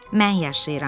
Mən yaşayıram.